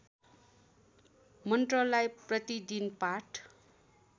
मन्त्रलाई प्रतिदिन पाठ